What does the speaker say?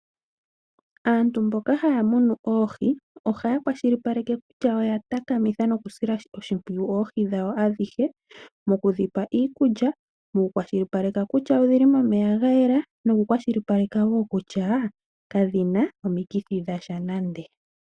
Aantu mboka haya munu oohi ohaya kwashilipaleke kutya oya takamitha nokusila oshimpwiyu oohi dhawo adhihe mokudhipa iikulya, mokukwashilipaleka kutya odhili momeya gayela, nokukwashilipaleka wo kutya kadhina omikithi dhasha nande.